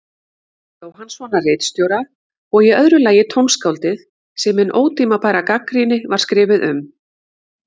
Jóhannssonar ritstjóra, og í öðru lagi tónskáldið sem hin ótímabæra gagnrýni var skrifuð um.